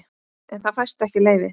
En það fæst ekki leyfi.